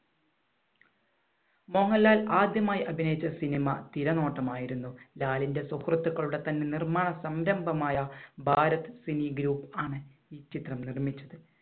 മോഹൻലാൽ ആദ്യമായി അഭിനയിച്ച സിനിമ തിരനോട്ടം ആയിരുന്നു. ലാലിന്‍റെ സുഹൃത്തുക്കളുടെ തന്നെ നിർമ്മാണ സംരംഭമായ ഭാരത് സിംഗ് group ണ് ഈ ചിത്രം നിർമ്മിച്ചത്.